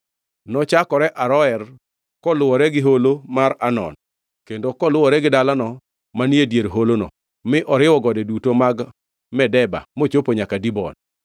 Nochakore Aroer koluwore gi holo mar Arnon, kendo koluwore gi dalano manie dier holono, mi oriwo gode duto mag Medeba mochopo nyaka Dibon,